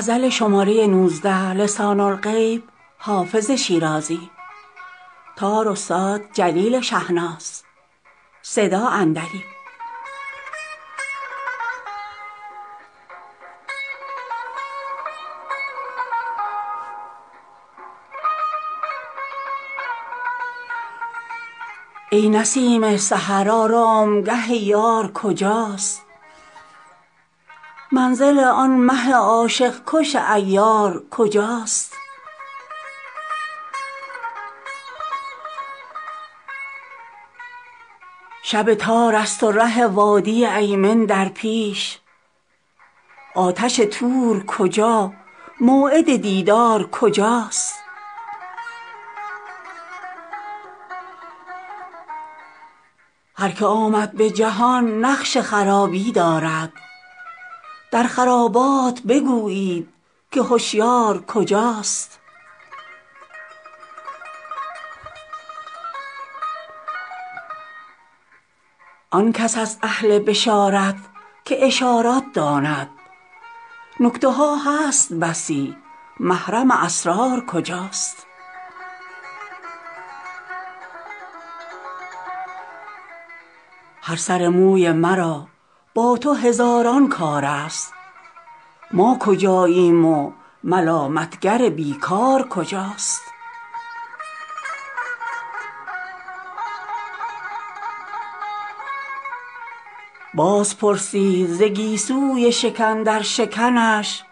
ای نسیم سحر آرامگه یار کجاست منزل آن مه عاشق کش عیار کجاست شب تار است و ره وادی ایمن در پیش آتش طور کجا موعد دیدار کجاست هر که آمد به جهان نقش خرابی دارد در خرابات بگویید که هشیار کجاست آن کس است اهل بشارت که اشارت داند نکته ها هست بسی محرم اسرار کجاست هر سر موی مرا با تو هزاران کار است ما کجاییم و ملامت گر بی کار کجاست باز پرسید ز گیسوی شکن در شکنش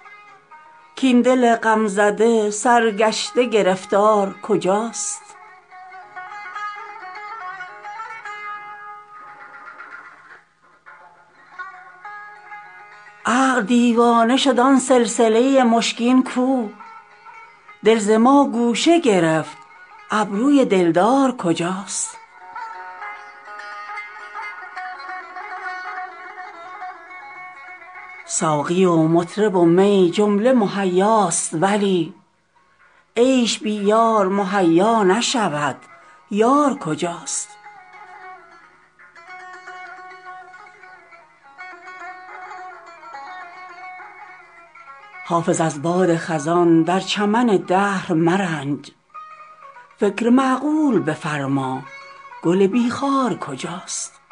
کاین دل غم زده سرگشته گرفتار کجاست عقل دیوانه شد آن سلسله مشکین کو دل ز ما گوشه گرفت ابروی دلدار کجاست ساقی و مطرب و می جمله مهیاست ولی عیش بی یار مهیا نشود یار کجاست حافظ از باد خزان در چمن دهر مرنج فکر معقول بفرما گل بی خار کجاست